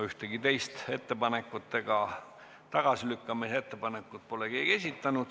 Ühtegi teist ettepanekut, sh tagasilükkamise ettepanekut pole keegi esitanud.